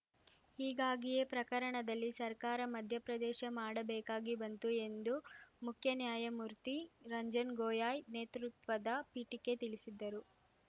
ಹೀಗಾಗಿಯೇ ಪ್ರಕರಣದಲ್ಲಿ ಸರ್ಕಾರ ಮಧ್ಯಪ್ರದೇಶ ಮಾಡಬೇಕಾಗಿ ಬಂತು ಎಂದು ಮುಖ್ಯ ನ್ಯಾಯಮೂರ್ತಿ ರಂಜನ್‌ ಗೊಯಾಯ್‌ ನೇತೃತ್ವದ ಪೀಠಕ್ಕೆ ತಿಳಿಸಿದ್ದರು